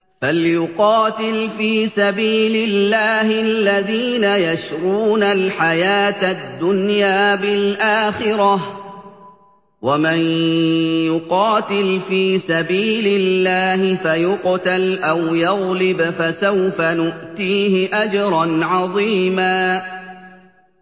۞ فَلْيُقَاتِلْ فِي سَبِيلِ اللَّهِ الَّذِينَ يَشْرُونَ الْحَيَاةَ الدُّنْيَا بِالْآخِرَةِ ۚ وَمَن يُقَاتِلْ فِي سَبِيلِ اللَّهِ فَيُقْتَلْ أَوْ يَغْلِبْ فَسَوْفَ نُؤْتِيهِ أَجْرًا عَظِيمًا